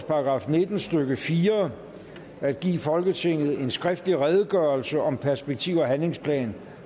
§ nitten stykke fire at give folketinget en skriftlig redegørelse om perspektiv og handlingsplan